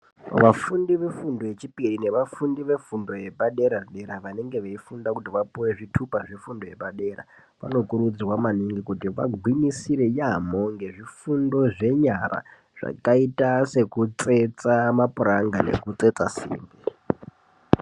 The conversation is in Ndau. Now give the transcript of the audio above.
Vafundi ve fundo yechipiri ne vafundi ve fundo yepa dera dera vanenge vei funda kuti vapuwe zvitupa zve fundo yepa dera vanokurudzirwa maningi kuti vagwinyisire yamho nge zvifundo zve nyara zvakaita seku tsetsa ma puranga neku tsetsa simbi.